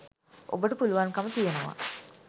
ඔබට පුළුවන්කම තියෙනවා